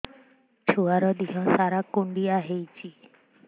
ଛୁଆର୍ ଦିହ ସାରା କୁଣ୍ଡିଆ ହେଇଚି